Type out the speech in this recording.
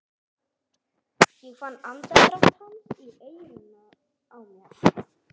Ég fann andardrátt hans í eyranu á mér.